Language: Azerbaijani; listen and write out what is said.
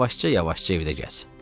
Yavaşca-yavaşca evdə gəz.